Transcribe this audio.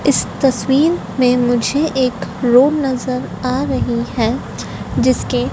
इस तस्वीर में मुझे एक रूम नजर आ रही है जिसके--